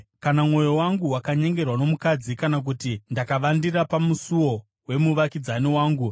“Kana mwoyo wangu wakanyengerwa nomukadzi, kana kuti ndakavandira pamusuo wemuvakidzani wangu,